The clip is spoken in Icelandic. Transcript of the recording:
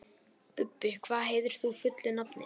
Bubbi, hvað heitir þú fullu nafni?